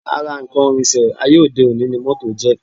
Ara nǹkan ìrìnsẹ̀ ayé òde òní ni moto jẹ́